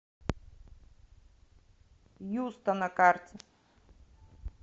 юста на карте